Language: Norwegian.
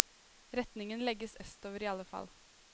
Retningen legges østover i alle fall.